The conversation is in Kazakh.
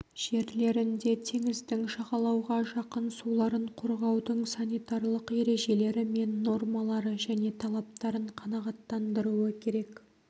жерлерінде теңіздің жағалауға жақын суларын қорғаудың санитарлық ережелері мен нормалары және талаптарын қанағаттандыруы керек